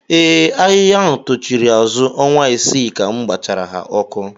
Ee, ahịhịa tochiri azụ ọnwa isii ka m gbachara ha ọkụ